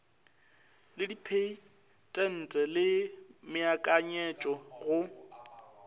le dipheitente le meakanyetšo go